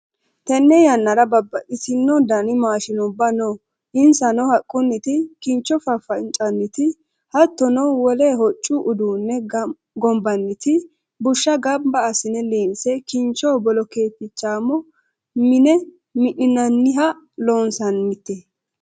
Tene yannara babbaxxitino dani maashinubba no insano haqquti kincho fafacaniti hattono wole hoccu uduune gombanniti, busha gamba assine liinse kincho bolotichamo mine mi'ninanniha loonsannite.